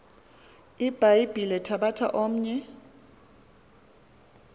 ibhayibhile thabatha omnye